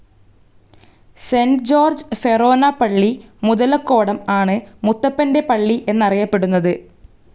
Saint George ഫെറോന പള്ളി, മുതലക്കോടം ആണ് മുത്തപ്പൻ്റെ പള്ളി എന്നറിയപ്പെടുന്നത്.